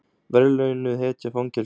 Verðlaunuð hetja fangelsuð